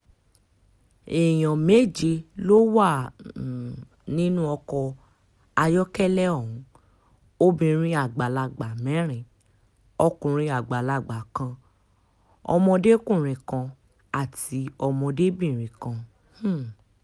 èèyàn méje ló wà um nínú ọkọ̀ ayọ́kẹ́lẹ́ ohun obìnrin àgbàlagbà mẹ́rin ọkùnrin àgbàlagbà kan ọmọdékùnrin kan àti ọmọdébìnrin kan um